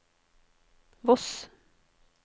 Voss